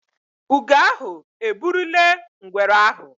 Ugo ahụ eburule ngwere ahụ